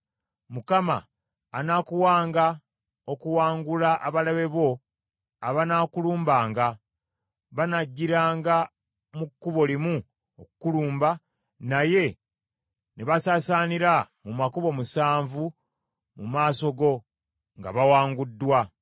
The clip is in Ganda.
Mukama anaakuwanga okuwangula abalabe bo abanaakulumbanga. Banajjiranga mu kkubo limu okukulumba, naye ne basaasaanira mu makubo musanvu mu maaso go nga bawanguddwa.